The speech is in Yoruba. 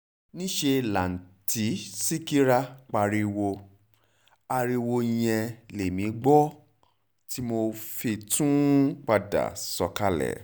níṣẹ́ làtúntì ṣíkẹ́ra pariwo ariwo yẹn lèmi gbọ́ tí mo fi tún ń padà sọ̀kalẹ̀